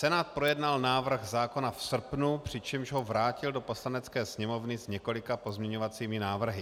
Senát projednal návrh zákona v srpnu, přičemž ho vrátil do Poslanecké sněmovny s několika pozměňovacími návrhy.